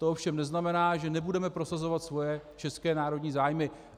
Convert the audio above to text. To ovšem neznamená, že nebudeme prosazovat své české národní zájmy.